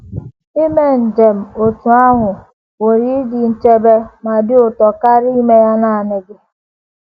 Ime njem otú ahụ pụrụ ịdị nchebe ma dị ụtọ karịa ime ya nanị gị.